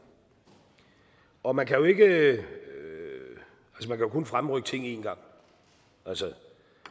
og man kan jo kun fremrykke ting en gang altså